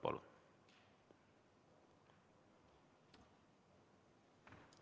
Palun!